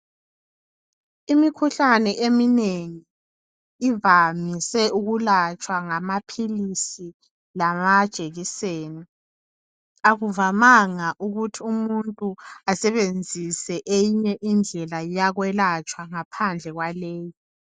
Imikhuhlane eminengi ivamise ukulatshwa ngamaphilisi lamajekiseni akuvamanga ukuthi umuntu asebenzise eyinye indlela yokwelatshwa ngaphandle kwaleyi.